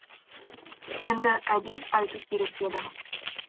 енді әдес айту керек еді